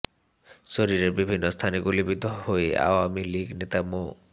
শরীরের বিভিন্ন স্থানে গুলিবিদ্ধ হয়ে আওয়ামী লীগ নেতা মো